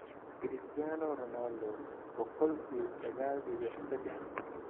Cristiano Ronaldo boqool iyo sagaal dibic sedex